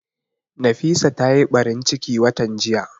Nafisa ta yi ɓarin ciki watan jiya